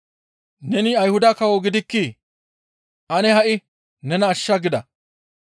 «Neni Ayhuda kawo gidikkii? Ane ha7i nena ashsha» gida.